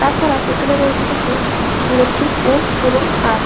তাছাড়া এখানে রয়েছে কিছু ইলেকট্রিক পোল এবং তার।